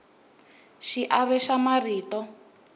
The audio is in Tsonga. xiave xa mintirho